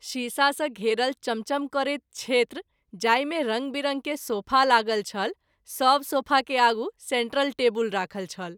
शीशा सँ घेरल चमचम करैत क्षेत्र जाहि मे रंग विरंग के सोफा लागल छल सभ सोफा के आगू सेन्ट्रल टेवुल राखल छल।